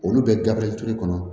Olu bɛ gabriel ture kɔnɔ